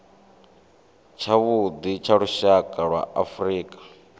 tshavhuḓi tsha lushaka lwa afrika